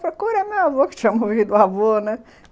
Procura meu avô, que tinha morrido o avô, né?